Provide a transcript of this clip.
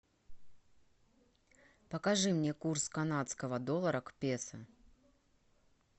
покажи мне курс канадского доллара к песо